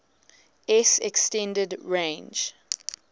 s extended range